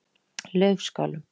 Laufskálum